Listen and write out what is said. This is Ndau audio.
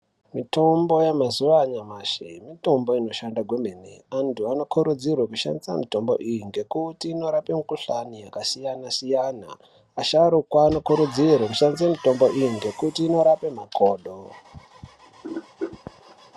Mitombo yamazuva anyamashi mitombo inoshanda kwemene .Antu anokurudzirwa kushandise mitombo iyi ngekuti inorape mikuhlani yakasiyana siyana .Asharukwa anokurudzirwa kushandise mitombo iyi ngekuti inorape makodo.